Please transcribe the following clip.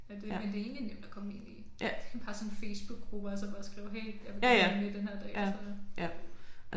Men det men det egentlig nemt at komme ind i det bare sådan Facebookgrupper og så bare skrive hey jeg vil gerne være med den her dag og så